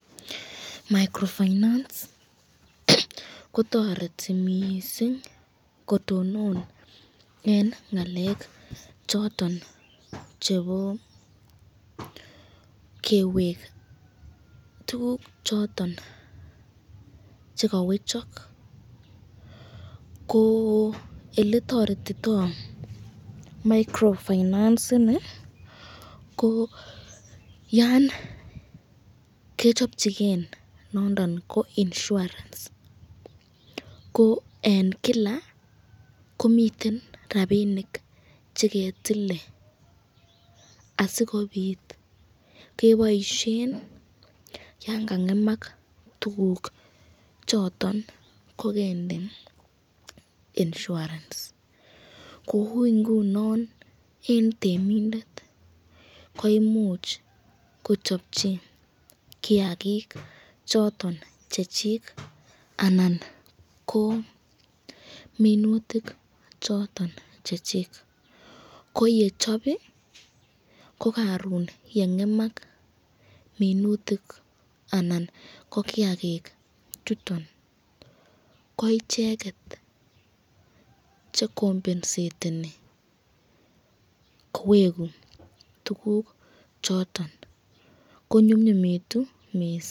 Microfinance kotoreti mising kotonon en ng'alek choton chebo kewek tuguk choton che kowechok ko ele toretito microfinance ini ko yan kichopchigen nondon ko insurance ko en kila komiten rabinik che ketile asikobit keboishen yon ka ng'emak tuguk choton kogende insurance kou ngunon en temindet koimuch kochopchin kiyagik choton chechik anan ko minutik choton che chik, koye chop ii, ko koron ye ng'emak minutik anan ko kiyagik chuton ko icheget che compenseteni kowegu tuguk choton, konyumnyumitu mising.